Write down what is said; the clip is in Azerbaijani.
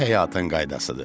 Bu həyatın qaydasıdır.